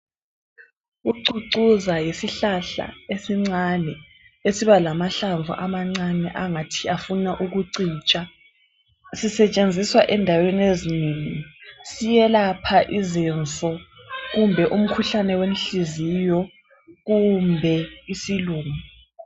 Ucucuza yisihlahla esincane esiba lamahlamvu amancane angathi afuna ukicija, sisetshenziswa endaweni ezinengi, siyelapha izinso, kumbe umkhuhlane wenhliziyo kumbe isilumo.